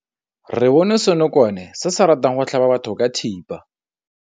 Re bone senokwane se se ratang go tlhaba batho ka thipa.